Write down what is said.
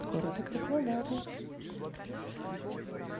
города краснодара